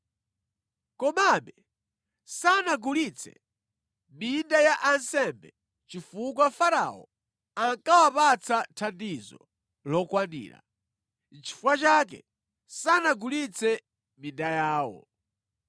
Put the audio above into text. Komabe, sanagule minda ya ansembe chifukwa Farao ankawapatsa thandizo lokwanira. Nʼchifukwa chake sanagulitse minda yawo.